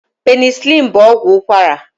Penisilini bụ ọgwụ ụkwara.